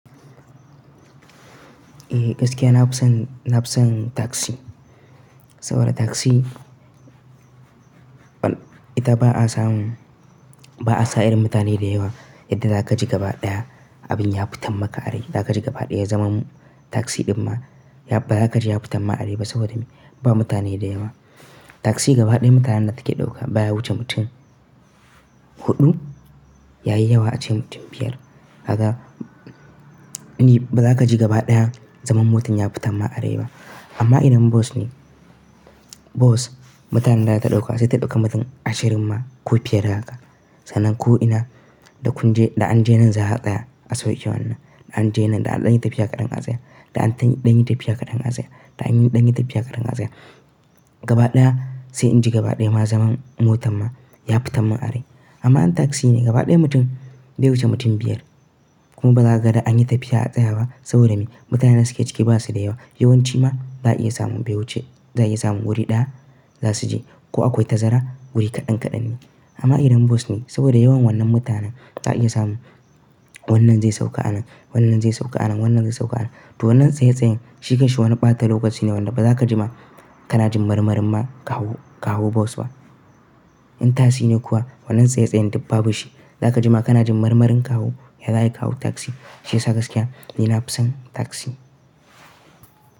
Eh gaskiya na fi son, na fi son taksi. Saboda taksi ita ba a samu, ba a samu mutane da yawa yadda za ka ji gaba ɗaya abin ya fitan maka are. Za ka je gaba ɗaya zaman taksi ɗin ma ba za ka ji ya fitan ma a rai ba saboda ba mutane da yawa. Taksi gaba ɗaya mutanen da take dauka baya wuce mutum huɗu yayi yawa a ce mutum biyar. Ka gan ba za ka ji gaba ɗaya zaman motan ya fitan ma a rai ba. Amma idan bus ne, bus mutanen da ya ta dauka sai ta ɗauki mutum ashirin ma ko fiye da haka. Sanan ko ina da kunje da an je nan za a hada a sauke wannan, da an je nan da an ɗanyi tafiya kaɗan a tsaya, da an ɗanyi tafiya kaɗan a tsaya, da an ɗanyi tafiya kaɗan a tsaya. Gaba ɗaya sai in ji gaba ɗaya ma zaman motan ma ya fitan mun a rai. Amma in taksi ne gaba ɗaya mutum bai wuce mutum biyar kuma ba za ka ga da an yi tafiya a tsaya ba saboda me? Mutanen da suke ciki ba su da yawa. Yawan ci ma ba za a iya samun bai wuce, za a iya samun wuri ɗaya za su je ko akwai tazara wuri kaɗan kaɗan ne. Amma idan bas ne saboda yawan wannan mutanen za a iya samun wannan zai sauka anan, wannan zai sauka anan, wannan zai sauka anan. To wannan tsaye tsayen shiken shi wana ɓata lokaci ne wanda ba za ka ji ma kana jin marmarin ma ka hau, ka hau bas ba. In taksi ne kuwa wannan tsaye tsayen duk ba bu shi. Za ka ji ma kana jin marmarin ka hau ya za a yi ka hau taksi. Shi yasa gaskiya ni na fi son taksi.